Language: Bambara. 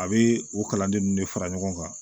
A bɛ o kalanden ninnu de fara ɲɔgɔn kan